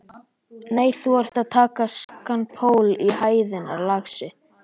Nei, þú ert að taka skakkan pól í hæðina, lagsi.